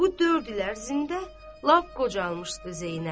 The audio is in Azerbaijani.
Bu dörd il ərzində lap qocalmışdı Zeynəb.